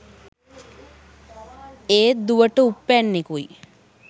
ඒත් දුවට උප්පැන්නෙකුයි